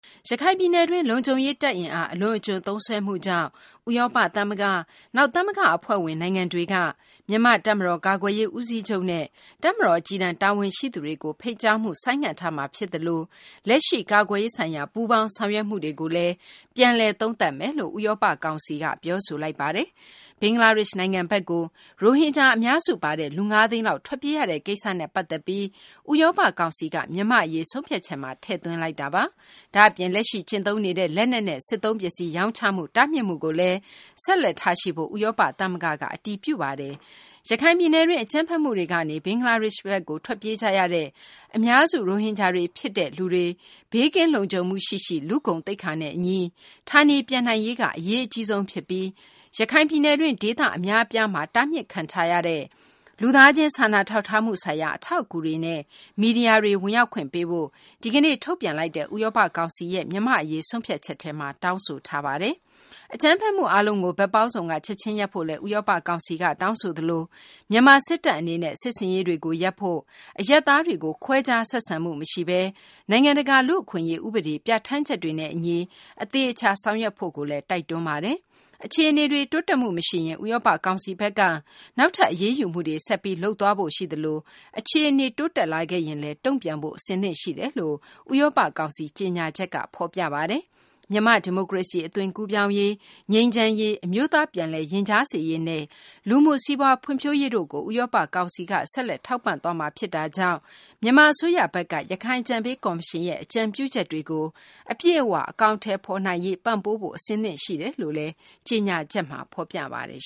ရခိုင်ပြည်နယ်တွင်းမှာ လုံခြုံရေး တပ် အင်အား အလွန်အကျွံသုံးစွဲမှုကြောင့် ဥရောပ သမဂ္ဂ၊ နောက် သမဂ္ဂ အဖွဲ့ဝင် နိုင်ငံတွေက မြန်မာ့ တပ်မတော် ကာကွယ်ရေး ဦးစီးချုပ်နဲ့ တပ်မတော် အကြီးတန်း တာဝန်ရှိသူတွေကို ဖိတ်ကြားမှု ဆိုင်းငံ့ထားမှာ ဖြစ်သလို လက်ရှိ ကာကွယ်ရေးဆိုင်ရာ ပူးပေါင်းဆောင်ရွက်မှုတွေကိုလည်း ပြန်လည် သုံးသပ်မယ်လို့ ဥရောပ ကောင်စီက ပြောဆိုလိုက်ပါတယ်။ ဘင်္ဂလားဒေရှ့်ဘက်ကို ရိုဟင်ဂျာတွေအများစု ပါဝင်တဲ့လူပေါင်း ၅ သိန်းနီးပါးထွက်ပြေးရတဲ့ကိစ္စနဲ့ ပတ်သက်ပြီးဥရောပ ကောင်စီက မြန်မာ့အရေး ဆုံးဖြတ်ချက်ထဲမှာ ထည့်သွင်းလိုက်တာပါ။ ဒါ့အပြင် လက်ရှိ ကျင့်သုံးနေတဲ့ လက်နက်နဲ့ စစ်သုံးပစ္စည်း ရောင်းချမှု တားမြစ်မှုကိုလည်း ဆက်လက်ထားရှိဖို့ ဥရောပ သမဂ္ဂက အတည်ပြုလိုက်ပါတယ်။ ရခိုင်ပြည်နယ်တွင်း အကြမ်းဖက်မှုတွေကနေ ဘင်္ဂလားဒေရှ့်ဘက်ကို ထွက်ပြေးကြရတဲ့ အများစု ရိုဟင်ဂျာတွေ ဖြစ်ကြတဲ့ လူပေါင်း ၅ သိန်းနီးပါးတို့ ဘေးကင်းလုံခြုံမှုရှိရှိ လူ့ဂုဏ်သိက္ခာနဲ့ အညီ ဌာနေပြန်နိုင်ရေးက အရေးအကြီးဆုံး ဖြစ်ပြီး ရခိုင်ပြည်နယ်တွင်း ဒေသ အများအပြားမှာ တားမြစ်ခံထားရတဲ့ လူသားချင်း စာနာထောက်ထားမှု ဆိုင်ရာ အထောက်အကူတွေနဲ့ မီဒီယာတွေ ဝင်ရောက်ခွင့် ပေးဖို့ ဒီကနေ့ ထုတ်ပြန်လိုက်တဲ့ ဥရောပ ကောင်စီရဲ့ မြန်မာ့အရေး ဆုံးဖြတ်ချက်ထဲမှာ တောင်းဆိုထားပါတယ်။ အကြမ်းဖက်မှု အားလုံးကို ဘက်ပေါင်းစုံက ချက်ချင်းရပ်ဖို့လည်း ဥရောပ ကောင်စီက တောင်းဆိုသလို မြန်မာ စစ်တပ် အနေနဲ့ စစ်ဆင်ရေးတွေကို ရပ်ဖို့၊ အရပ်သားတွေကို ခွဲခြားဆက်ဆံမှု မရှိဘဲ နိုင်ငံတကာ လူ့အခွင့်အရေး ဥပဒေ ပြဌာန်းချက်တွေနဲ့ အညီ အသေအချာ ဆောင်ရွက်ဖို့လည်း တိုက်တွန်းထားပါတယ်။ အခြေအနေတွေ တိုးတက်မှု မရှိရင် ဥရောပ ကောင်စီဘက်က နောက်ထပ် အရေးယူမှုတွေ ဆက်ပြီး လုပ်သွားဖို့ ရှိသလို အခြေအနေတွေ တိုးတက်လာခဲ့ရင်လည်း တုံ့ပြန်ဖို့ အဆင်သင့်ရှိနေပါတယ်လို့ ဥရောပ ကောင်စီ ကြေညာချက်က ပြောပါတယ်။ မြန်မာ့ ဒီမိုကရေစီ အသွင်ကူးပြောင်းရေး၊ ငြိမ်းချမ်းရေး၊ အမျိုးသား ပြန်လည်ရင်ကြားစေ့ရေးနဲ့ လူမှု စီးပွားဖွံ့ဖြိုးရေးတို့ကို ဥရောပ ကောင်စီဘက်က ဆက်လက် ထောက်ပံ့သွားမှာ ဖြစ်တာကြောင့် မြန်မာ အစိုးရဘက်က ရခိုင်အကြံပေး ကော်မရှင်ရဲ့ အကြံပြုချက်တွေကို အပြည့်အ၀ အကောင်အထည်ဖော် နိုင်ရေး ပံ့ပိုးဖို့ အဆင်သင့် ရှိနေတယ်လို့လည်း ကြေညာချက်က ဖော်ပြပါတယ်